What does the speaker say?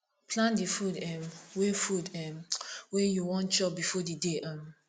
plan di food um wey food um wey you wan chop before di day um